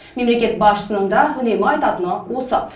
мемлекет басшысының да үнемі айтатыны осы